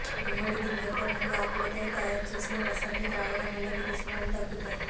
గుమ్మడి గింజలతో మరియు ఆకులతో తయారుచేసిన రసాన్ని త్రాగటం వల్ల విరేచనాలు తగ్గుతాయి